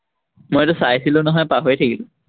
মই এইটো চাইছিলো নহয়, পাহৰি থাকিলো।